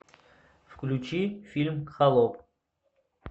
включи фильм холоп